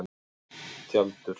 Tjaldur